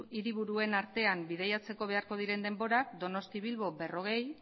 hiriburuen artean bidaiatzeko beharko diren denborak donostia bilbo berrogei